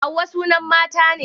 hauwa sunan mata ne